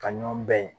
Ka ɲɔgɔn bɛn